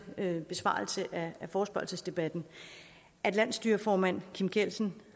min besvarelse af forespørgselsdebatten at landsstyreformand kim kielsen